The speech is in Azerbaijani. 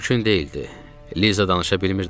Liza danışa bilmirdi axı.